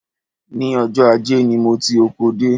Ní ọjọ́ ajé ni mo ti oko dé